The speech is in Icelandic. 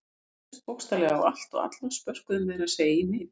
Þau réðust bókstaflega á allt og alla, spörkuðu meira að segja í mig.